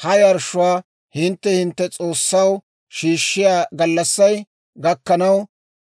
Ha yarshshuwaa hintte hintte S'oossaw shiishshiyaa gallassay gakkanaw,